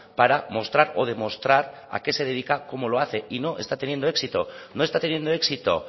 para mostrar o demostrar a qué se dedica cómo lo hace y no está teniendo éxito no está teniendo éxito